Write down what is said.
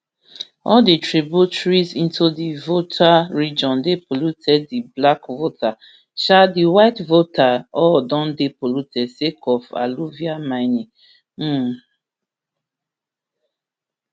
all di tributaries into di volta region dey polluted di black volta um di white volta all don dey polluted sake of alluvial mining um